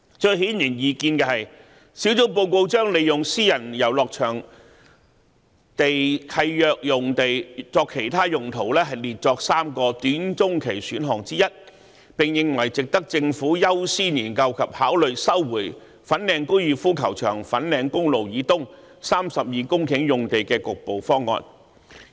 最顯而易見的是，專責小組報告將"利用私人遊樂場地契約用地作其他用途"列作3個"短中期選項"之一，並認為"值得政府優先研究及考慮收回粉嶺高爾夫球場粉錦公路以東32公頃用地的局部方案"。